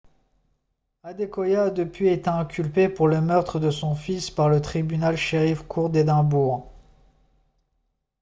adekoya a depuis été inculpée pour le meurtre de son fils par le tribunal sheriff court d'édimbourg